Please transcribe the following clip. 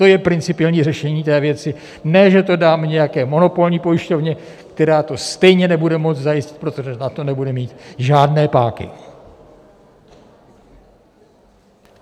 To je principiální řešení té věci, ne že to dáme nějaké monopolní pojišťovně, která to stejně nebude moci zajistit, protože na to nebude mít žádné páky.